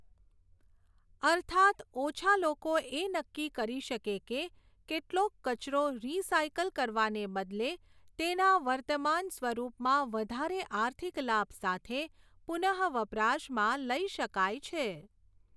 અર્થાત્ ઓછા લોકો એ નક્કી કરી શકે કે કેટલોક કચરો રીસાયકલ કરવાને બદલે તેના વર્તમાન સ્વપમાં વધારે આર્થિક લાભ સાથે પુનઃવપરાશમાં લઈ શકાય છે.